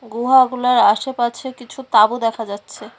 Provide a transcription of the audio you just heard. গুহাগুলার আসেপাছে কিছু তাবু দেখা যাচ্ছে।